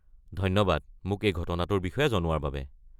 ধন্যবাদ মোক এই ঘটনাটোৰ বিষয়ে জনোৱাৰ বাবে।